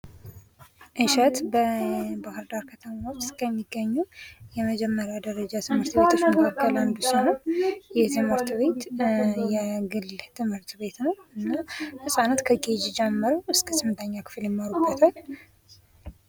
እሸት በባህርዳር ከተማ ውስጥ ከሚገኙ የመጀመሪያ ደረጃ ትምህርት ቤቶች መካከል አንዱ ሲሆን ይህ ትምህርት ቤት የግል ትምህርት ቤት ነው። እና ህጻናት ከኬጅ ጀምሮ እስከ 8ኛ ክፍል ይሠሩበታል።